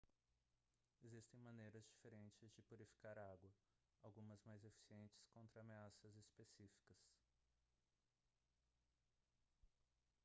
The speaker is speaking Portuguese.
existem maneiras diferentes de purificar água algumas mais eficientes contra ameaças específicas